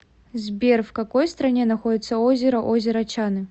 сбер в какой стране находится озеро озеро чаны